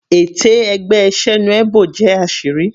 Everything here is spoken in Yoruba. Ète ẹgbẹ́ Senuebo jẹ́ àṣírí.